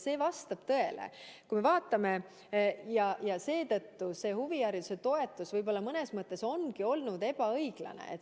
See vastab tõele ja seetõttu ongi see huvihariduse toetus võib-olla mõnes mõttes olnud ebaõiglane.